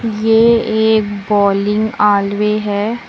ये एक bowling alley है।